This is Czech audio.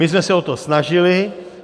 My jsme se o to snažili.